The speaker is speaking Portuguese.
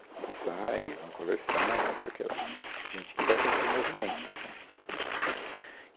Que sai, e vão conversar, e não sei que lá, gente que ela conheceu no movimento né.